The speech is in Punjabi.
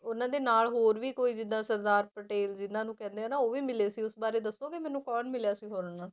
ਉਹਨਾਂ ਦੇ ਨਾਲ ਹੋਰ ਵੀ ਕੋਈ ਜਿੱਦਾਂ ਸਰਦਾਰ ਪਟੇਲ ਜਿਹਨਾਂ ਨੂੰ ਕਹਿੰਦੇ ਆ ਨਾ ਉਹ ਵੀ ਮਿਲੇ ਸੀ ਉਸ ਬਾਰੇ ਦੱਸੋਂਗੇ ਮੈਨੂੰ ਕੌਣ ਮਿਲਿਆ ਸੀ ਹੋਰ ਉਹਨਾਂ?